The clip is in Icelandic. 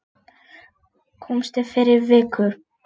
Komstu fyrir viku?